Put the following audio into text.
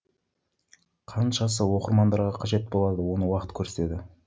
қаншасы оқырмандарға қажет болады оны уақыт көрсетеді